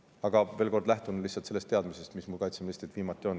Aga veel kord: lähtun lihtsalt sellest teadmisest, mis mul kaitseministrilt viimati saadud on.